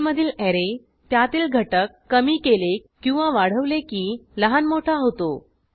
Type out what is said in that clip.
पर्लमधील ऍरे त्यातील घटक कमी केले किंवा वाढवले की लहान मोठा होतो